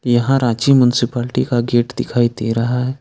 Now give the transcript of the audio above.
यहां Ranchi municipality gate गेट दिखाई दे रहा है।